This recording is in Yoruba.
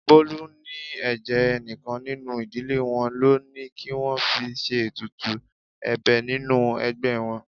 Bolu ní ẹ̀jẹ̀ enikan nínú ìdílé wọn lọ ní kí wọ́n fi ṣe ètùtù ẹ̀bẹ̀ nínú ẹgbẹ́ wọn.